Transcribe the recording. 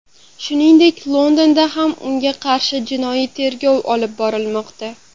Shuningdek, Londonda ham unga qarshi jinoiy tergov olib borilmoqda.